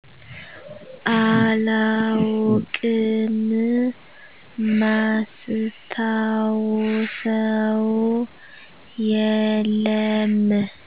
አላውቅም ማስታውሰው የለም